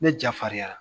Ne jafalenyara